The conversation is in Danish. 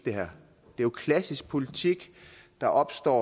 er jo klassisk politik der opstår